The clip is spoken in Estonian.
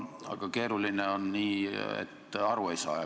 Aga keeruline on nii, kui aru ei saa.